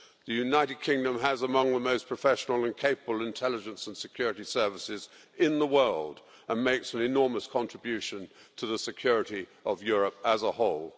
The United Kingdom has among the most professional and capable intelligence and security services in the world and makes an enormous contribution to the security of Europe as a whole.